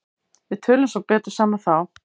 Við tölum svo betur saman þá.